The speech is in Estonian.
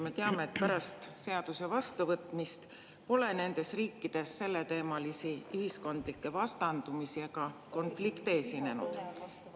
Me teame, et pärast seaduse vastuvõtmist pole nendes riikides selleteemalisi ühiskondlikke vastandumisi ega konflikte esinenud.